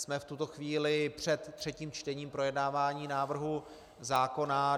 Jsme v tuto chvíli před třetím čtením projednávání návrhu zákona.